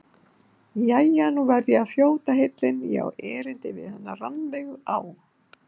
Jæja, nú verð ég að þjóta heillin, ég á erindi við hana Rannveigu á